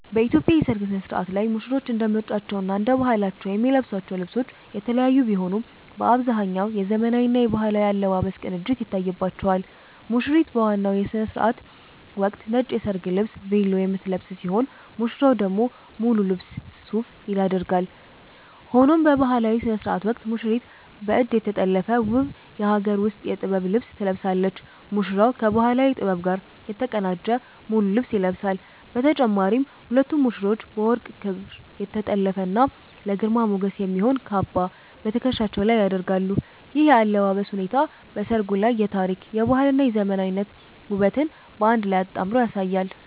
በኢትዮጵያ የሠርግ ሥነ-ሥርዓት ላይ ሙሽሮች እንደ ምርጫቸውና እንደ ባህላቸው የሚለብሷቸው ልብሶች የተለያዩ ቢሆኑም፣ በአብዛኛው የዘመናዊና የባህላዊ አለባበስ ቅንጅት ይታይባቸዋል። ሙሽሪት በዋናው የሥነ-ሥርዓት ወቅት ነጭ የሰርግ ልብስ 'ቬሎ' የምትለብስ ሲሆን፣ ሙሽራው ደግሞ ሙሉ ልብስ 'ሱፍ' ያደርጋል። ሆኖም በባህላዊው ሥነ-ሥርዓት ወቅት ሙሽሪት በእጅ የተጠለፈ ውብ የሀገር ውስጥ የጥበብ ልብስ ትለብሳለች፤ ሙሽራውም ከባህላዊ ጥበብ ጋር የተቀናጀ ሙሉ ልብስ ይለብሳል። በተጨማሪም ሁለቱም ሙሽሮች በወርቅ ክር የተጠለፈና ለግርማ ሞገስ የሚሆን "ካባ" በትከሻቸው ላይ ይደርባሉ። ይህ የአለባበስ ሁኔታ በሠርጉ ላይ የታሪክ፣ የባህልና የዘመናዊነት ውበትን በአንድ ላይ አጣምሮ ያሳያል።